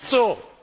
Das ist so!